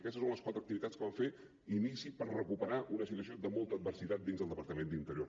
i aquestes són les quatre activitats que vam fer d’inici per recuperar una situació de molta adversitat dins del departament d’interior